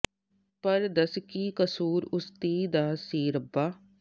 ਪਰ ਦੱਸ ਕੀ ਕਸੂਰ ਉਸ ਧੀ ਦਾ ਸੀ ਰੱਬਾ